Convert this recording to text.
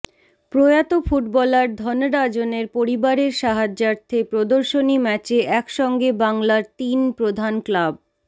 প্রয়াত ফুটবলার ধনরাজনের পরিবারের সাহায্যার্থে প্রদর্শনী ম্যাচে একসঙ্গে বাংলার তিন প্রধান ক্লাব